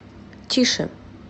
тише